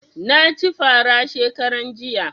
Na ci fara shekaran jiya